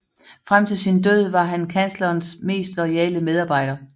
Frem til sin død var han kanslerens mest loyale medarbejder